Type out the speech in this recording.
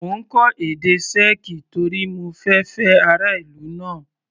Mo ń kọ́ èdè Sẹ́ẹ̀kì torí mo fẹ fẹ́ ará ìlú náà.